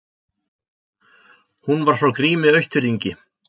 Hún var frá Grími Austfirðingi.